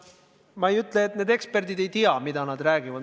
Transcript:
Ma ei ütle, et need eksperdid ei tea, mida nad räägivad.